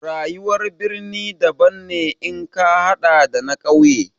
Rayuwar birni daban ne in ka haɗa da na ƙauye.